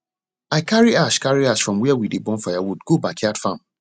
i carry ash carry ash from where we dey burn firewood go backyard farm